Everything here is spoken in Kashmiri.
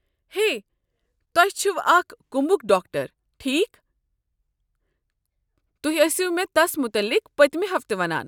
ہے، تۄہہ چھوٕ اکھ کُمبُک ڈاکٹر، ٹھیكھ؟ تُہۍ ٲسِوٕ مےٚ تس متعلق پٔتِمہِ ہفتہٕ ونان۔